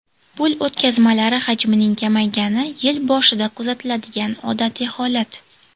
Pul o‘tkazmalari hajmining kamaygani yil boshida kuzatiladigan odatiy holat.